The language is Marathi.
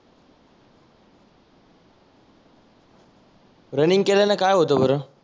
रनींग केल्याने काय होतं बरं?